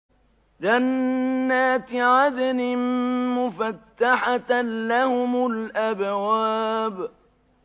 جَنَّاتِ عَدْنٍ مُّفَتَّحَةً لَّهُمُ الْأَبْوَابُ